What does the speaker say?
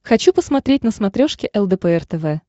хочу посмотреть на смотрешке лдпр тв